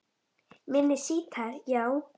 Minni sítar, já